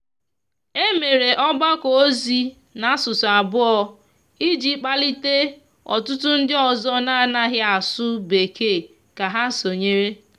e mere ogbako ozi na asụsụ abuo iji kpalite ọtụtụ ndi ọzọ n'anaghi asụ bekee ka ha sonyere.